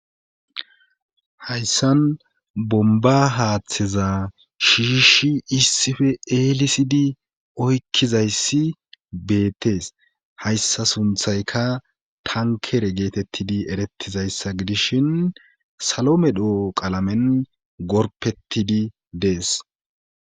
hayssan bomba haaththeza shiishi issife eelisidi oykkizayssi beettees hayssa sunthayka tankere geetettidi erettizayssa gidishin salo medho qalamen gorpettidi dees